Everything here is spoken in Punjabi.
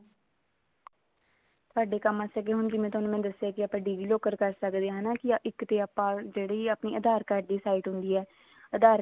ਤੁਹਾਡੇ ਕੰਮ ਵਾਸਤੇ ਜਿਵੇਂ ਹੁਣ ਮੈਂ ਤੁਹਾਨੂੰ ਦੱਸਿਆ ਕੇ ਆਪਾਂ digi locker ਕਰ ਸਕਦੇ ਆਂ ਹਨਾ ਇੱਕ ਤੇ ਆਪਾਂ ਜਿਹੜੀ ਆਪਣੀ ਆਧਾਰ card ਦੀ site ਹੁੰਦੀ ਆ ਆਧਾਰ card